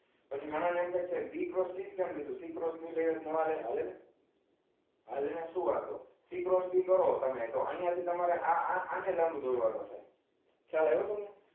પછી ઘણા ને એમ થાય two b cross c જ કેમ લીધુ c cross b c cross b લઈએ તો નો હાલે. હાલે ને હાલે ને c cross b કરો તમે તો અહીંયા થી તમારે આને આને લાંબુ દોરવાનુ છે ખ્યાલ આવ્યો તમને હ